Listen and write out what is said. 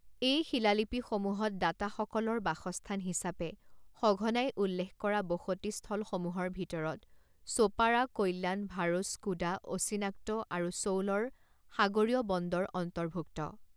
এই শিলালিপিসমূহত দাতাসকলৰ বাসস্থান হিচাপে সঘনাই উল্লেখ কৰা বসতিস্থলসমূহৰ ভিতৰত ছোপাৰা কল্যাণ ভাৰুচ কুদা অচিনাক্ত আৰু চৌলৰ সাগৰীয় বন্দৰ অন্তৰ্ভুক্ত।